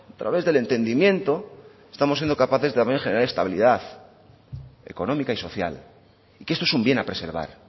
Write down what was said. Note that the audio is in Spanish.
través del entendimiento estamos siendo capaces también de generar estabilidad económica y social y que esto es un bien a preservar